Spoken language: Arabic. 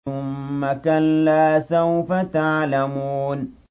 ثُمَّ كَلَّا سَوْفَ تَعْلَمُونَ